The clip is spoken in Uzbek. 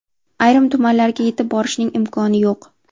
Ayrim tumanlarga yetib borishning imkoni yo‘q.